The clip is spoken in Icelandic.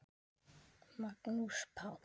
Magnús Páll.